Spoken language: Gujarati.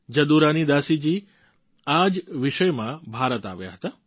જદુરાની દાસી જી આ જ વિષયમાં ભારત આવ્યા હતા